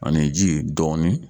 Ani ji dɔɔnin.